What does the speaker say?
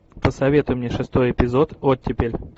посоветуй мне шестой эпизод оттепель